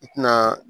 I tina